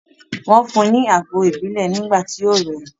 Wọ́n fún un ní àgbo ìbílẹ̀ nígbà tí ó rẹ̀ ẹ́.